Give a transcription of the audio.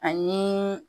Ani